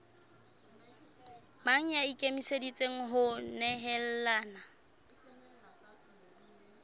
mang ya ikemiseditseng ho nehelana